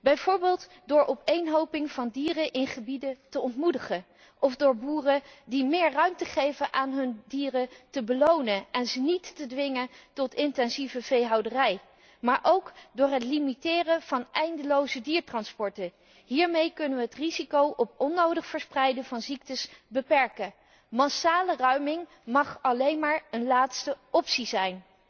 Bijvoorbeeld door opeenhoping van dieren in gebieden te ontmoedigen of door boeren die meer ruimte aan hun dieren geven te belonen en ze niet te dwingen tot intensieve veehouderij. Maar ook door het limiteren van eindeloze diertransporten. Hiermee kunnen wij het risico op het onnodig verspreiden van ziektes beperken. Massale ruiming mag alleen maar een laatste optie zijn.